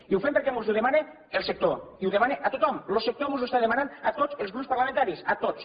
i ho fem perquè mos ho demana el sector i ho demana a tothom lo sector mos ho està demanant a tots els grups parlamentaris a tots